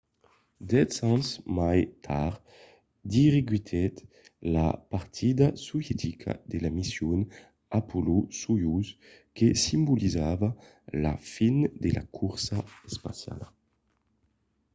dètz ans mai tard dirigiguèt la partida sovietica de la mission apollo-soyouz que simbolizava la fin de la corsa espaciala